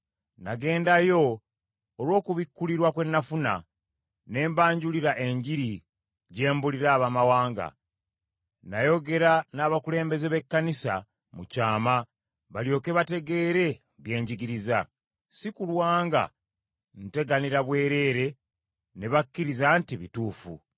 Nagendayo olw’okubikulirwa kwe nafuna, ne mbanjulira Enjiri gye mbuulira Abaamawanga. Nayogera n’abakulembeze b’Ekkanisa mu kyama balyoke bategeere bye njigiriza, si kulwa nga nteganira bwereere, ne bakkiriza nti bituufu.